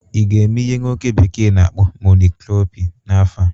ị ga-eme ihe nwoke bekee na-akpọ "mono cropping" n'afọ a?